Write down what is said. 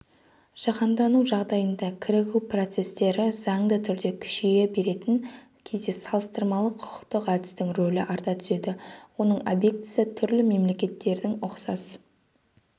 жаһандану жағдайында кірігу процесстері заңды түрде күшейе беретін кезде салыстырмалы-құқықтық әдістің рөлі арта түседі оның объектісі түрлі мемлекеттердің ұқсас